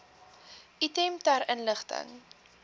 item ter inligting